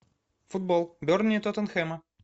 футбол бернли тоттенхэма